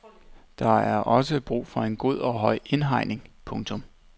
Der er også brug for en god og høj indhegning. punktum